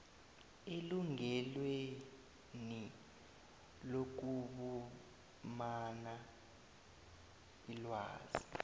elungelweni lokufumana ilwazi